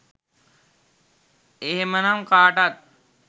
එහෙමනම් කාටත්